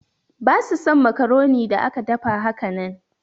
Basu son macaroni da aka dafa hakanan.